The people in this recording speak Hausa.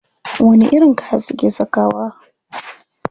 Wani irin kaya suke sakawa?